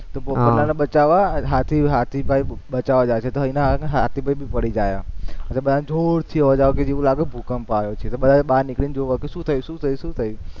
હા તો પોપટલાલને બચાવવા હાથી, હાથીભાઈ બચાવવા જાય છે, ઘોડીને આયા તો હાથીભાઈ ભી પડી ગયા મતલબ બધાને જોરથી અવાજ આવ્યો કે એવું લાગ્યું કે ભૂકંપ આયો છે, તો બધા બાર નીકળીને જોવા આયા કે શું થયું શું થયું શું થયું